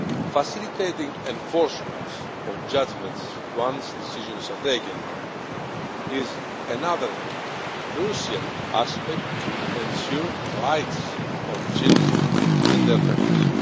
Facilitating enforcement of judgments once decisions are taken is another crucial aspect to ensure the rights of children and their families.